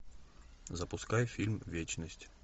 запускай фильм вечность